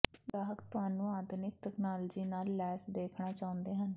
ਗ੍ਰਾਹਕ ਤੁਹਾਨੂੰ ਆਧੁਨਿਕ ਤਕਨਾਲੋਜੀ ਨਾਲ ਲੈਸ ਦੇਖਣਾ ਚਾਹੁੰਦੇ ਹਨ